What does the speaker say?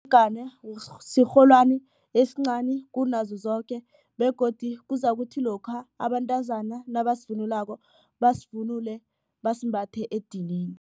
sirholwani esincani kunazo zoke begodu kuzakuthi lokha abantazana nabasivunulako, basivunule basimbathe edinini.